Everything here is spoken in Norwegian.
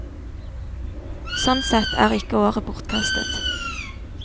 Sånn sett er ikke året bortkastet.